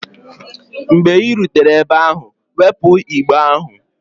Mgbe ị rutere ebe ahụ, wepụ igbe ahụ!